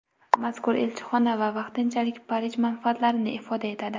Mazkur elchixona vaqtinchalik Parij manfaatlarini ifoda etadi.